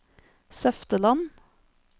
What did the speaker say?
Søfteland